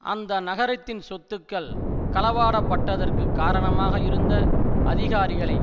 அந்த நகரத்தின் சொத்துக்கள் களவாடப்பட்டதற்கு காரணமாக இருந்த அதிகாரிகளை